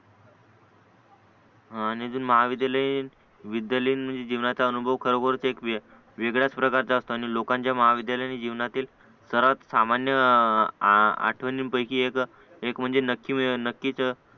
आणि ते महाविद्यालयीन विद्यालयीन म्हणजे जीवनाचा अनुभव खरोखर इकवीय वेगळंच प्रकारचा असतो आणि लोकांचा महाविद्यालयीन जीवनातील सर्वात सामान्य आठवनिन पैकी एक एक म्हणजे नक्की नक्कीच